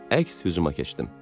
Əks hücuma keçdim.